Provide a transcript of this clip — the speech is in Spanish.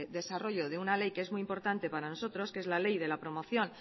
desarrollo de una ley que es muy importante para nosotros que es la ley de la promoción